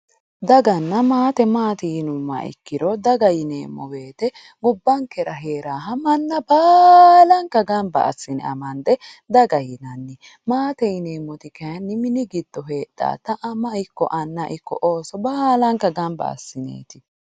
daganna maate maati yinummoha ikkiro daga yineemmo woyte gobbankera hee'raha manna baalanka gamba assi'ne amande daga yinanni, maate yinemmoti kayiinni mini giddo heedhaata ama ikko anna ikko Ooso baalanka gamba assineeti.